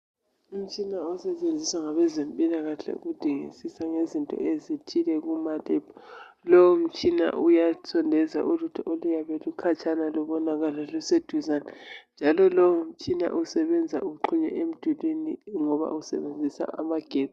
Umtshina osetshenziswa ngabezempilakahle ukudingisisa ngezinto ezithile . Lowo mtshina uyasondeza ulutho oluyabe lukhatshana lubonakale luseduzane njalo lowo mtshina usebenza uxhunywe emdulini ngoba usebenzisa amagetsi.